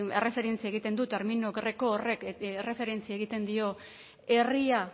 erreferentzia egiten du termino greko horrek erreferentzia egiten dio herria